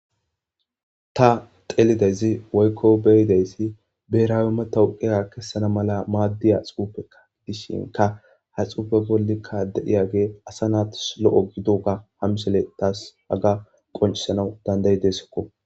Ta xelidayis woyikko beidayis berasi matawiqiya kesaana mala madiyaxufekka gidishshinkka ha xufe bola deiyabikka asa naasi loo gidoga ha misiley haga tas qonicisanawu danidaidesikko